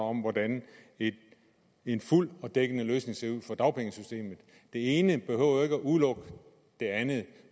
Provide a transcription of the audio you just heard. om hvordan en fuld og dækkende løsning ser ud for dagpengesystemet det ene behøver jo ikke at udelukke det andet